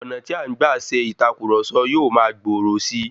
Ọ̀nà tí a ń gba ṣe ìtàkurọ̀sọ yóò ma gbòòrò si